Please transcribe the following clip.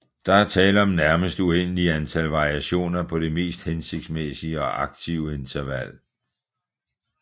Der er tale om nærmest uendelige antal variationer på det mest hensigtsmæssige og aktive interval